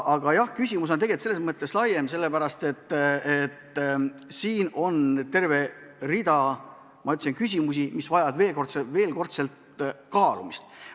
Aga küsimus on laiem sellepärast, et on terve rida küsimusi, mis vajavad veelkordselt kaalumist.